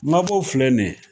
Mabɔ filɛ nin ye